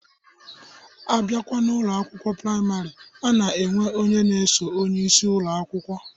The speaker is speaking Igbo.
Abịakwa n'Ụlọ akwụkwọ praịmarị, a na-enwe onye na-eso onyeisi Ụlọ akwụkwọ.